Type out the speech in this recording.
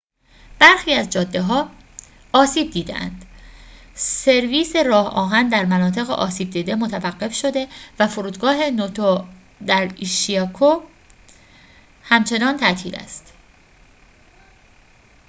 برخی از جاده‌ها آسیب دیده‌اند سرویس راه‌آهن در مناطق آسیب دیده متوقف شده و فرودگاه نوتو در ایشیکاوا همچنان تعطیل است